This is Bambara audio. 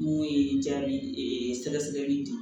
N'o ye jaabi sɛgɛsɛgɛli di